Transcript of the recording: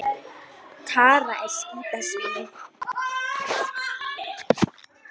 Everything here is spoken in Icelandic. Rödd mömmu hækkaði og brast næstum á orðinu rotta